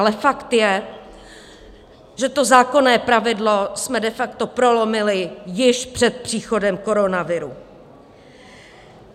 Ale fakt je, že to zákonné pravidlo jsme de facto prolomili již před příchodem koronaviru.